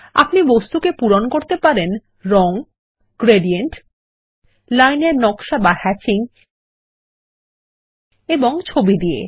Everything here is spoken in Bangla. আপনি বস্তু কে পূরণ করতে পারেন রং গ্রেডিয়েন্ট লাইন এর নক্সা বা হ্যাচিং এবং ছবি দিয়ে